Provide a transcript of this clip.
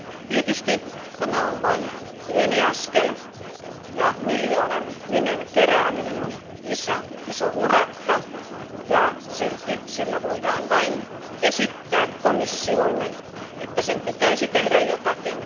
Tietysti tämä on vain pieni askel ja miljoonan nimen kerääminen on iso urakka, ja kuitenkin sillä voidaan vain esittää komissiolle, että sen pitäisi tehdä jotakin.